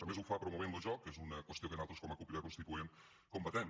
a més ho fa promovent lo joc que és una qüestió que nosaltres com a cup crida constituent combatem